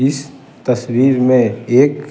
इस तस्वीर में एक --